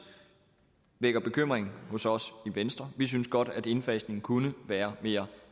vækker bekymring hos os i venstre vi synes godt at indfasningen kunne være mere